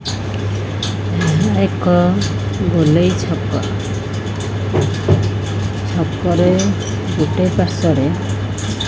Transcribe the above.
ଏକ ଗୋଲେଇ ଛକ ଛକରେ ଗୋଟେ ପାର୍ଶ୍ଵରେ --